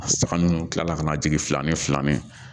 Saga ninnu kila ka na jigin fila ni fila min